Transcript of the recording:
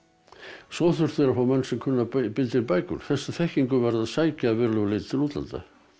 svo þurftu þeir að fá menn sem kunnu að binda inn bækur þessa þekkingu varð að sækja að verulegu leyti til útlanda